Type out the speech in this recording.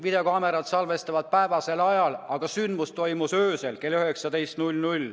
Videokaamerad salvestavad päevasel ajal, aga sündmus toimus õhtul kell 19.